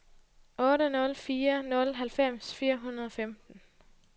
otte nul fire nul halvfems fire hundrede og femten